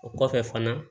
O kɔfɛ fana